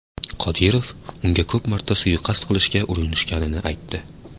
Qodirov unga ko‘p marta suiqasd qilishga urinishganini aytdi.